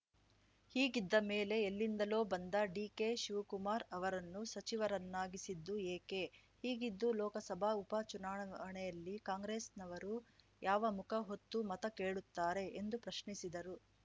ಹೀಗಿದ್ದ ಮೇಲೆ ಎಲ್ಲಿಂದಲೋ ಬಂದ ಡಿಕೆಶಿವ್ ಕುಮಾರ್‌ ಅವರನ್ನು ಸಚಿವರನ್ನಾಗಿಸಿದ್ದು ಏಕೆ ಹೀಗಿದ್ದೂ ಲೋಕಸಭಾ ಉಪ ಚುನಾವಣೆಯಲ್ಲಿ ಕಾಂಗ್ರೆಸ್‌ನವರು ಯಾವ ಮುಖ ಹೊತ್ತು ಮತ ಕೇಳುತ್ತಾರೆ ಎಂದು ಪ್ರಶ್ನಿಸಿದರು